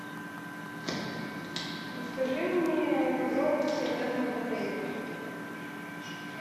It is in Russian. расскажи мне подробности о термах в отеле